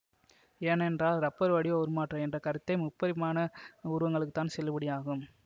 ஏனேன்றால் rubber வடிவ உருமாற்ற என்ற கருத்தே முப்பரிமாண உருவங்களுக்குத்தான் செல்லுபடியாகும்